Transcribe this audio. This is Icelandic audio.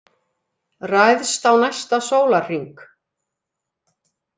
Ræðst á næsta sólarhring